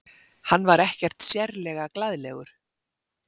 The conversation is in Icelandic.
Hann var ekkert sérlega glaðlegur.